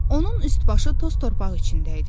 Onun üst-başı toz-torpaq içində idi.